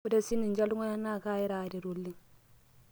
ore sininche iltung'anak naa kaaira aaret oleng'